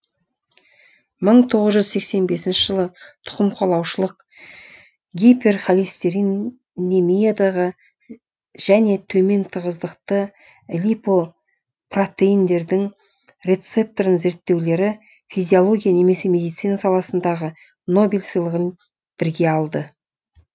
мың тоғыз жүз сексен бесінші жылы тұқымқуалаушылық гипер холестерин емиядағы және төмен тығыздықты липопротеиндердің рецепторын зерттеулері физиология немесе медицина саласындағы нобель сыйлығын бірге алды